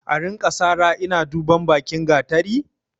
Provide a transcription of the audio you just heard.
A rinka sara ina duban bakin gatari?